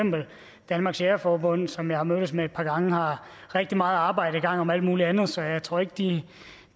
danmarks jægerforbund som jeg har mødtes med et par gange har rigtig meget arbejde i gang om alt muligt andet så jeg tror ikke de